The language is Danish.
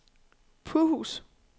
Purhus